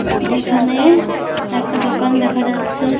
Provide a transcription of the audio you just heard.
এখানে একটা দোকান দেখা যাচ্ছে ।